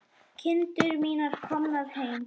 Kindur mínar komnar heim.